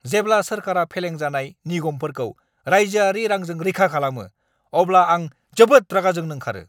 जेब्ला सोरखारा फेलें जानाय निगमफोरखौ राइजोआरि रांजों रैखा खालामो, अब्ला आं जोबोद रागा जोंनो ओंखारो।